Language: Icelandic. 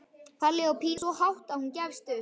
Palli og Pína æpa svo hátt að hún gefst upp.